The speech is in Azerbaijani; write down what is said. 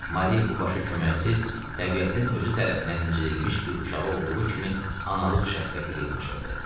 Mari bu başı köməksiz, təbiətin özü tərəfindən incidilmiş bir uşağı olduğu kimi analıq şəfqəti ilə yanaşırdı.